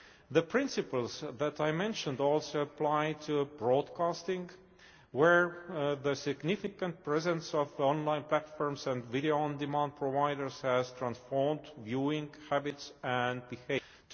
The principles that I mentioned also apply to broadcasting, where the significant presence of online platforms and video on demand providers has transformed viewing habits and behaviour.